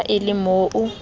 ha e le mo o